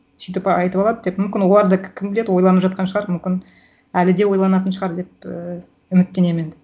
сөйтіп айтып алады деп мүмкін олар да кім біледі ойланып жатқан шығар мүмкін әлі де ойланатын шығар деп і үміттенемін енді